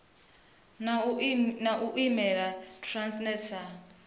na u imela transnet sa